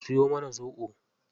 Ku siyo mana zoɓo.